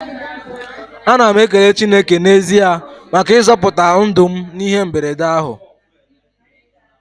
Ana m ekele Chineke n'ezie maka ịzọpụta ndụ m n'ihe mberede ahụ.